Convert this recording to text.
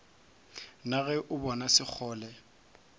na ge o bona sekgole